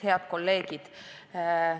Head kolleegid!